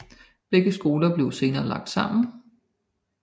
Begge skoler blev senere lagt sammen